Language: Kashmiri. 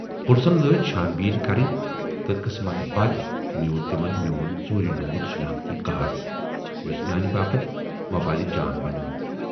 پُلسن لٲج چھان بیٖن کَرٕنۍ تہٕ قٕسمتہٕ بَد میوٗل تِمن میوٗن ژوٗرِ نیوٗمُت شِناختی کارڈ، یُس میانہِ باپتھ وۅبالہٕ جان بنیوو۔